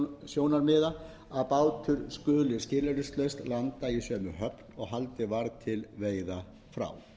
vegna öryggissjónarmiða að bátur skuli skilyrðislaust landa í sömu höfn og haldið var til veiða frá